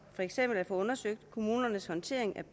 det så